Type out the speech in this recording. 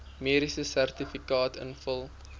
mediese sertifikaat invul